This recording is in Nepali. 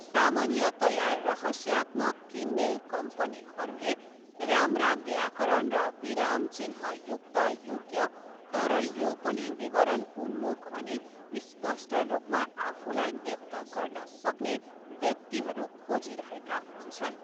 सामान्यतया, रहस्यात्मक किनमेल कम्पनीहरूले राम्रा व्याकरण र विराम चिह्नयुक्त योग्य, तर यो पनि विवरण उन्मुख अनि स्पष्ट रूपमा आफूलाई व्यक्त गर्न सक्ने व्यक्तिहरू खोजिरहेका हुन्छन्।